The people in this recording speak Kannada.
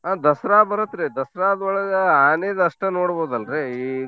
ಹಾ ದಸ್ರಾ ಬರುತ್ರಿ ದಸ್ರಾದೊಳ್ಗ ಆನೀದ್ ಅಷ್ಟ ನೋಡ್ಬೌದಲ್ರಿ .